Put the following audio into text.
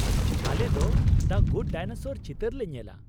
ᱟᱞᱮᱫᱚ ᱫᱟ good dinosaur ᱪᱤᱛᱟᱹᱨ ᱞᱮ ᱧᱮᱞᱟ ᱾